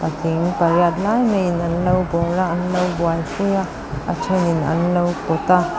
patling pariat lai maiin anlo bâwl a anlo buaipui a a ṭhenin anlo pawt a.